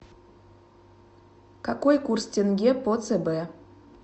какой курс тенге по цб